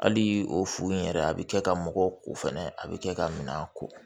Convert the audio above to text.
Hali o furu in yɛrɛ a bɛ kɛ ka mɔgɔw ko fɛnɛ a bɛ kɛ ka minan ko